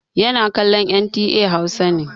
Yana kallon NTA Hausa ne.